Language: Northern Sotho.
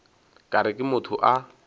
ka re ke motho a